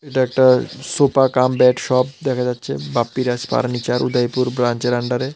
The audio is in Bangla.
এটা একটা সোফা কাম বেড শপ দেখা যাচ্ছে বাপ্পিরাজ ফার্নিচার উদয়পুর ব্রাঞ্চের আন্ডারে ।